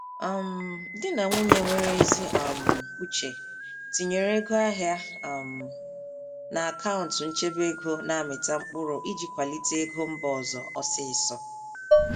um Di na nwunye nwere ezi um uche tinyere ego ahịa um n'akaụntụ nchebe ego na-amịta mkpụrụ iji kwalite ego mba ọzọ ọsịịsọ.